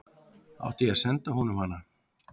Átti ég að senda honum hana?